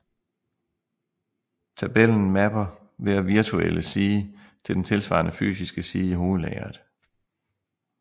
Tabellen mapper hver virtuelle side til den tilsvarende fysiske side i hovedlageret